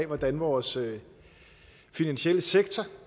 hvordan vores finansielle sektor